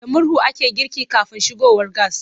Da murhu ake girki kafin shigowar gas.